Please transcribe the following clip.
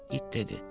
İt dedi: